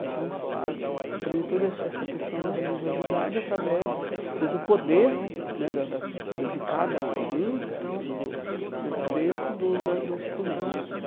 Então, você você aprende toda essa essa questão da religiosidade através do do poder né da da de cada um um do do dentro do da do instrumentos.